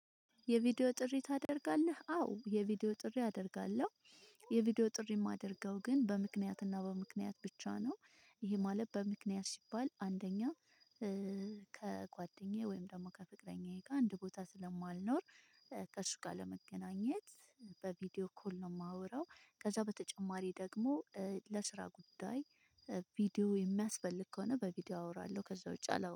የቪዲዮ ጥሪ ታደርጋለህ አዎ የቪዲዮ ጥሪ አደርጋለሁ። የቪዲዮ ጥሪ የማደርገው ግን በምክንያትና በምክንያት ብቻ ነው። ይሄ ማለት በምክንያት ሲባል አንደኛ ከጓደኛዬ ወይም ደግሞ ከፍቅረኛዬ ጋር አንድ ቦታ ስለማልኖር። ከእርሱ ጋር ለመገናኘት በቪዲዮ ኮል ነው የማወራው። ከዛ በተጨማሪ ደግሞ ለስራ ጉዳይ ቪዲዮ የሚያስፈልግ ከሆነ በቪዲዮ አወራለሁ። ከዛ ውጪ አላወራም